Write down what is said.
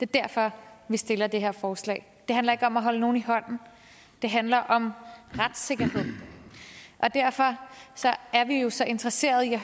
derfor vi stiller det her forslag det handler ikke om at holde nogen i hånden det handler om retssikkerhed derfor er vi jo så interesserede i at